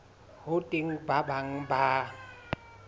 ho teng ba bang ba